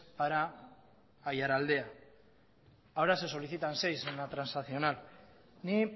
para aiaraldea ahora se solicitan seis en la transaccional ni